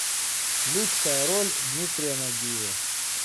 лучшая роль дмитрия нагиева